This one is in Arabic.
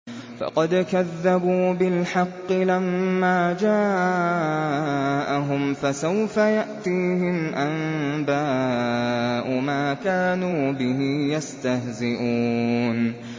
فَقَدْ كَذَّبُوا بِالْحَقِّ لَمَّا جَاءَهُمْ ۖ فَسَوْفَ يَأْتِيهِمْ أَنبَاءُ مَا كَانُوا بِهِ يَسْتَهْزِئُونَ